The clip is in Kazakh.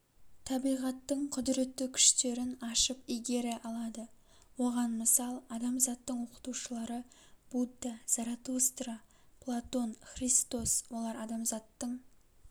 табиғаттың кұдіретті күштерін ашып игере алады оған мысал адамзаттың оқытушылары будда заротустра платон христос олар адамзаттың